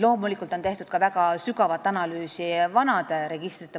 Loomulikult on tehtud ka vanade registrite väga sügavat analüüsi.